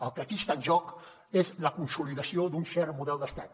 el que aquí està en joc és la consolidació d’un cert model d’estat